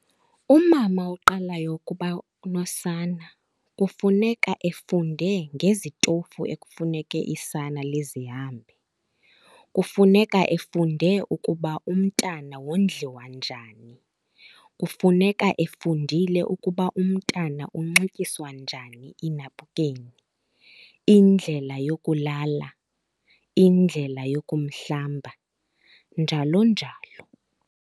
Umama oqalayo ukuba nosana kufuneka efunde ngezitofu ekufuneke isana lizihambe. Kufuneka efunde ukuba umntana wondliwa njani, kufuneka efundile ukuba umntana unxityiswa njani iinapukeni, indlela yokulala, indlela yokumhlamba njalo njalo.